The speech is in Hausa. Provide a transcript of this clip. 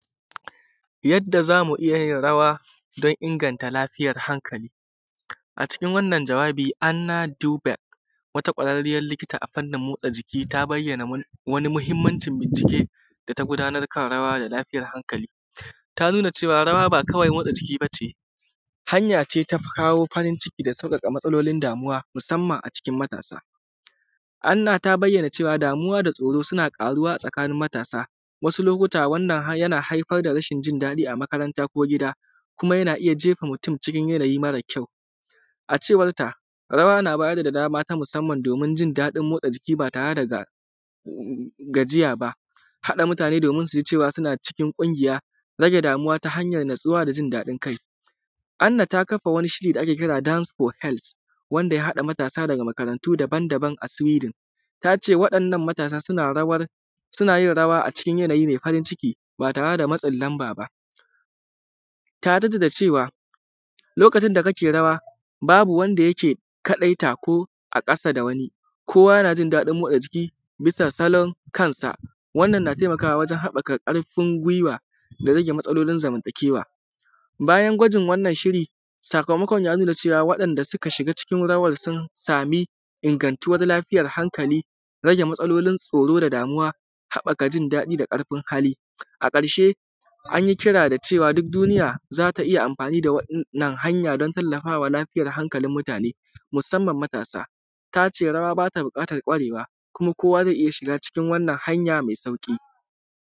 Yadda zamu iyya yin rawa dan inganta lafiyan hankali. A cikin wannan jawabi ana duba wata kwararriyar likita a fannin motsa jiki ta bayyana wani mahimmancin binci ke data gudanar kan rawa da lafiyan hankali. Ta nuna cewan raw aba kawai motsa jiki bace hance ta kawo farin ciki da kuma da sauƙaƙa matsalolin damuwa musamman a cikin matasa. Anna ta bayyana cewa damuwa da tsoro suna karuwa a cikn matasa wasu lokuta wannan har yana haifar da rashin jin daɗi a makaranta ko gida kuma yana iyya jefa mutun cikin yanayi mare kyau. A cewar ta rawa na bayar da daman a musamman domin jin daɗin motsa jiki ba tare daga gajiya ba, haɗa mutane domin suji cewa suna cikin kungiya, rage damuwa ta hanyan natsuwa da jin daɗin kai. Anna ta kafa wani shiri da ake kira dans fo helt wanda ya haɗa ɗalibai daga makaran tu daban daban daga suwidin wa ɗannan matasa sunayin rawa a cikin yanayi mai farin ciki ba tare da lamb aba. Ta jadda da cewa lokacin da kake rawa babu wanda yake kaɗai ta ko a ƙasa da wani kowa yanajin daɗin motsajiki dan jin daɗin kansa wannan na taimakawa wajen haɓɓaka karfin guiwa da rage kuma zaman ta kewa. Bayan gwajin wannan shiri sakamakon ya nuna cewa waɗan da suka shiga cikin rawan sun sami ingantuwar lafiyar hankali, rage matsalolin tsoro da damauwa, haɓɓaka jin daɗi da karfin hali. A ƙarshe ayi kira da cewa duk duniya zaka iyya amfani da wannan hanya dan tallafawa lafiyar hankalin mutane musamman matasa tace rawa bata buƙatan kwarewa kuma kowa zai iyya shiga cikin wanna hanya mai sauƙi.